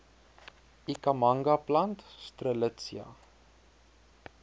ikhamanga plant strelitzia